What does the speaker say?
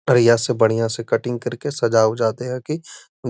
बढ़िया से बढ़िया से कटिंग करके सजा उजा दे हखी।